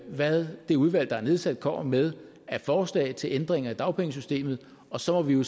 hvad det udvalg der er nedsat kommer med af forslag til ændringer i dagpengesystemet og så må vi jo